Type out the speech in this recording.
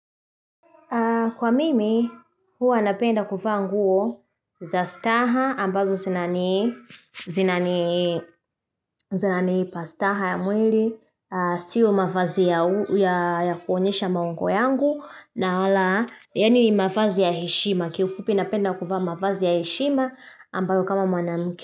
Kwa mimi, hua napenda kuvaa nguo za staha ambazo zinani zinaniipa staha ya mwili, sio mavazi ya kuonyesha maungo yangu, na ala yani ni mavazi ya heshima. Kiufupi napenda kuvaa mavazi ya heshima ambayo kama mwanamke.